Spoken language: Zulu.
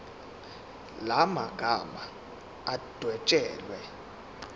la magama adwetshelwe